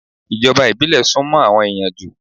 Ìjọba ìbílẹ̀ sún mọ́ àwọn ẹ̀yàn jù.